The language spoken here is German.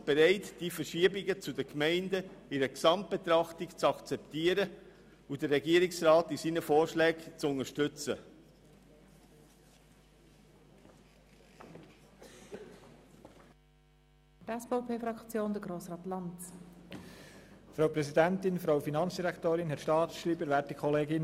Die EVP ist bereit, die Verschiebungen zu den Gemeinden im Sinne einer Gesamtbetrachtung zu akzeptieren und die Vorschläge des Regierungsrats zu unterstützen.